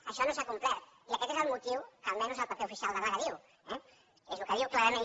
això no s’ha complert i aquest és el motiu que almenys el paper oficial de vaga diu és el que diu clarament